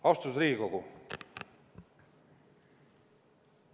Austatud Riigikogu!